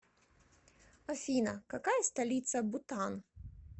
афина какая столица бутан